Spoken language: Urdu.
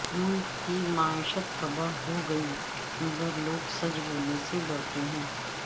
ملک کی معیشت تباہ ہوگئی مگر لوگ سچ بولنے سے ڈرتے ہیں